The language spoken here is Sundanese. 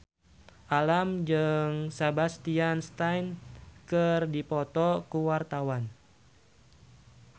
Alam jeung Sebastian Stan keur dipoto ku wartawan